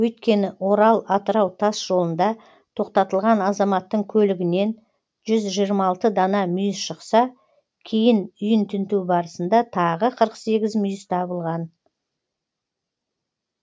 өйткені орал атырау тасжолында тоқтатылған азаматтың көлігінен жүз жиырма алты дана мүйіз шықса кейін үйін тінту барысында тағы қырық сегіз мүйіз табылған